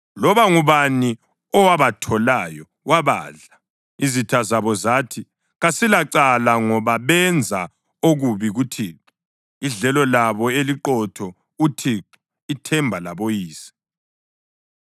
Loba ngubani owabatholayo wabadla; izitha zabo zathi, ‘Kasilacala, ngoba benza okubi kuThixo, idlelo labo eliqotho, uThixo, ithemba laboyise.’